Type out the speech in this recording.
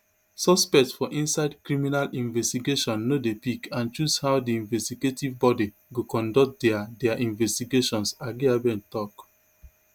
suspect for inside criminal investigation no dey pick and choose how di investigative body go conduct dia dia investigations agyebeng tok